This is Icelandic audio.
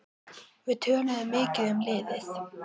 Við töluðum mikið um liðið.